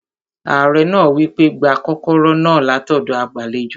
Ààrẹ náà wí pé, "gba kọ́kọ́rọ́ náà látọ̀dọ̀ agbàlejò